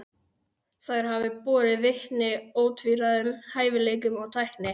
Þær hafi borið vitni ótvíræðum hæfileikum og tækni.